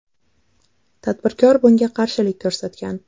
Tadbirkor bunga qarshilik ko‘rsatgan.